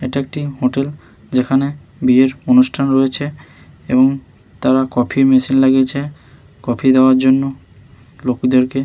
এটা একটি হোটেল যেখানে বিয়ের অনুষ্ঠান রয়েছে এবং তারা কফি মেশিন লাগিয়েছে কফি দেওয়ার জন্য লোকেদেরকে--